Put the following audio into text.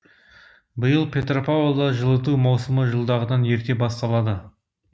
биыл петропавлда жылыту маусымы жылдағыдан ерте басталады